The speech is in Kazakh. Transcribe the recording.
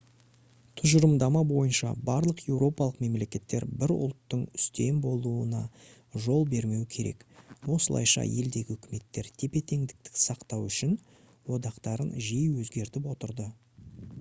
тұжырымдама бойынша барлық еуропалық мемлекеттер бір ұлттың үстем болуына жол бермеу керек осылайша елдегі үкіметтер тепе-теңдікті сақтау үшін одақтарын жиі өзгертіп отырды